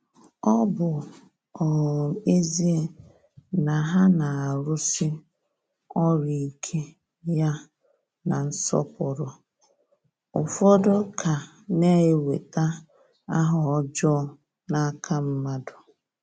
Ọ bụ um ezie na ha na-arụsi ọrụ ike ya na nsọpụrụ, ụfọdụ ka na-enweta aha ọjọọ n’aka mmadụ.